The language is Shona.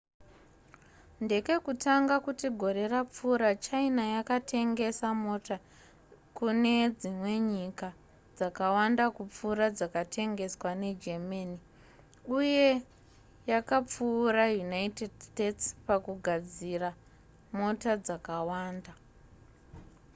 ndekekutanga kuti gore rapfuura china yakatengesa mota kune dzimwe nyika dzakawanda kupfuura dzakatengeswa negermany uye yakapfuura united states pakugadzira mota dzakawanda